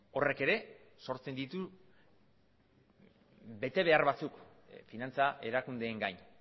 horrek ere sortzen ditu betebeharbatzuk finantza erakundeen gain